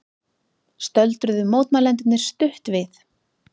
Stöldruðu mótmælendurnir stutt við